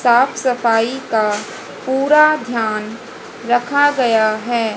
साफ सफाई का पूरा ध्यान रखा गया है।